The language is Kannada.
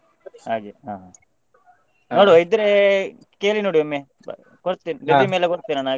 ಹಾಗೆ ಹಾ. ನೋಡ್ವಾ ಇದ್ರೆ ಕೇಳಿನೋಡಿ ಒಮ್ಮೆ ಕೊಡ್ತೇನೆ resume ಎಲ್ಲ ಕೊಡ್ತೇನೆ ನಾನ್ ಹಾಗೆ.